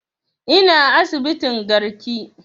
Ina asibitin garki